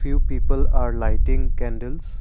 few people are lighting candles.